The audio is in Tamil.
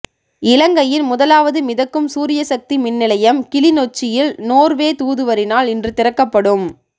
இலங்கையின் முதலாவது மிதக்கும் சூரியசக்தி மின்நிலையம் கிளிநொச்சியில் நோர்வே தூதுவரினால் இன்று திறக்கப்படும்